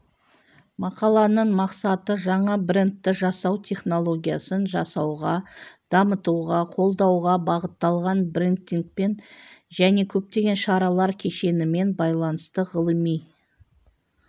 мақаланың мақсаты жаңа брендті жасау технологиясын жасауға дамытуға қолдауға бағытталған брендингпен және көптеген шаралар кешенімен байланысты ғылыми